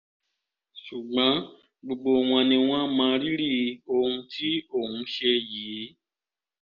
ṣùgbọ́n gbogbo wọn ni wọ́n mọ rírì ohun tí òun ṣe yìí